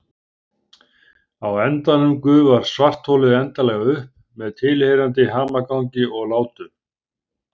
Á endanum gufar svartholið endanlega upp með tilheyrandi hamagangi og látum.